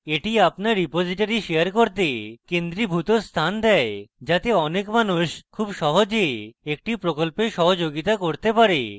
এটি আপনার repository share করতে কেন্দ্রীভূত স্থান দেয় যাতে অনেক মানুষ খুব সহজে একটি প্রকল্পে সহযোগিতা করতে পারে